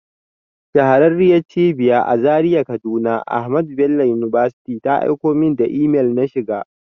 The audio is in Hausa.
Shahararriyar Cibiyan a Zaria kaduna AHMADU BELLO UNIVERSITY ta aiko min da imel na shiga.